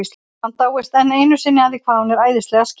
Hann dáist enn einu sinni að því hvað hún er æðislega skýr.